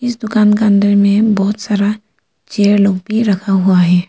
इस दुकान के अंदर में बहोत सारा चेअर लोग भी रखा हुआ है।